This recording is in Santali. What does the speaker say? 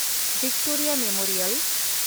Victoria memorial